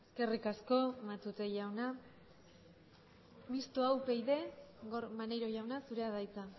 eskerrik asko matute jauna mistoa upyd gorka maneiro jauna zurea da hitza